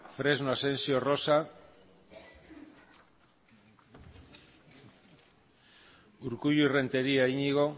fresno asensio rosa urkullu renteria iñigo